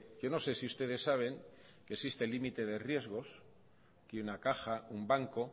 yo no sé si ustedes saben que existe límite de riesgos que una caja un banco